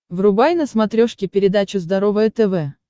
врубай на смотрешке передачу здоровое тв